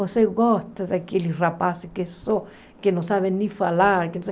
Você gosta daqueles rapazes que só que não sabem nem falar?